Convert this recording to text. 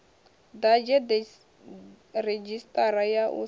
ḓadze redzhisiṱara ya u sa